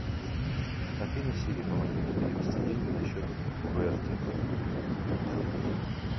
афина сири помоги мне перевести деньги на счет куэрти